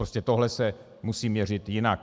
Prostě tohle se musí měřit jinak.